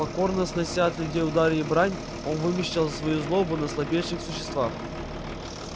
покорно снося от людей удары и брань он вымещал свою злобу на слабейших существах